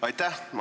Aitäh!